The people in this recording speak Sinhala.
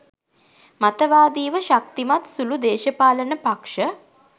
මතවාදිව ශක්තිමත් සුළු දේශපාලන පක්‍ෂ